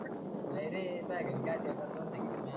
नाही रे तुह्या घरी काय ऐकाच दोन सांगितल्या म्या